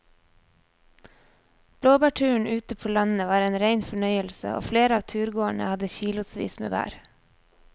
Blåbærturen ute på landet var en rein fornøyelse og flere av turgåerene hadde kilosvis med bær.